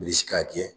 Bilisi k'a jɛ